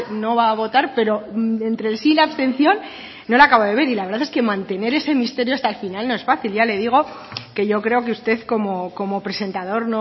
no va a votar pero entre el sí y la abstención no lo acabo de ver y la verdad es que mantener ese misterio hasta el final no es fácil ya le digo que yo creo que usted como presentador